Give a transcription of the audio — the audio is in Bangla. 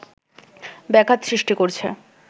ব্যাঘাত সৃষ্টি করছে